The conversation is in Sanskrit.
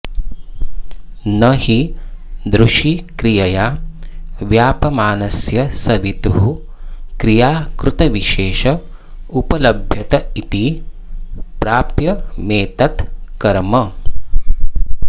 न हि दृशिक्रियया व्याप्यमानस्य सवितुः क्रियाकृतविशेष उपलभ्यत इति प्राप्यमेतत् कर्म